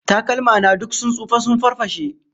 Takalma na duk sun tsufa sun farfashe